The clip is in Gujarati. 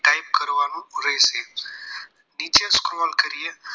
નીચે scroll કરીએ